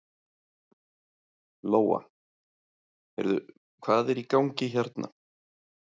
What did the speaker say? Lóa: Heyrðu, hvað er í gangi hérna?